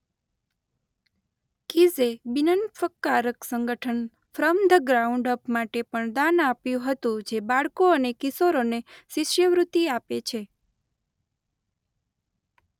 કીઝે બિનનફકારક સંગઠન from the ground up માટે પણ દાન આપ્યું હતું જે બાળકો અને કિશોરોને શિષ્યવૃત્તિ આપે છે.